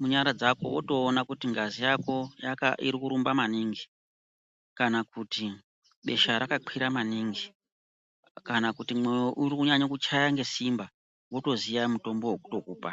munyara dzako votoona kuti ngazi yako iri kurumba maningi. Kana kuti besha rakakwira maningi, kana kuti mwoyo uri kunyanya kuchaya ngesimba, votoziya mutombo vekutokupa.